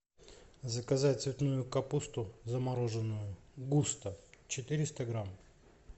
заказать цветную капусту замороженную густо четыреста грамм